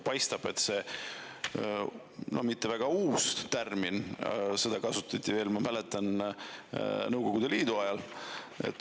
See ei ole mitte väga uus termin, seda kasutati, ma mäletan, ka Nõukogude Liidu ajal.